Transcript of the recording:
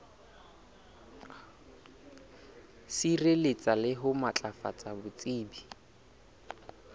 sireletsa le ho matlafatsa botsebi